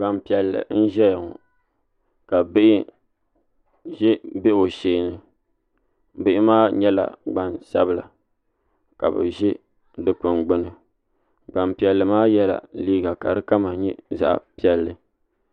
Gbanpiiɛlli n ʒɛya ŋɔ ka bihi ʒɛ o sheeni bihi maa nyɛla Gbansabila ka bi ʒi dikpuni gbuni gbanpiɛlli maa yɛla liiga ka di kama nyɛ zaɣ piɛlli